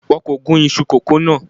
Wọn kò gún iṣu kókò náà.